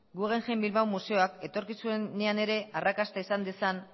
guggenheim bilbao museoak etorkizunean ere arrakasta izan dezan